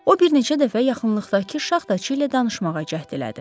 O bir neçə dəfə yaxınlıqdakı şaxtaçı ilə danışmağa cəhd elədi.